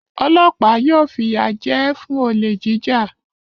Ọlọ́pàá yóò fìyà jẹ ẹ́ fún olè jíjà.